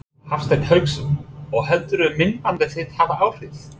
Hafsteinn Hauksson: Og heldurðu að myndbandið þitt hafi áhrif?